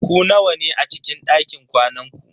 Ku nawa ne a cikin dakin kwanan ku?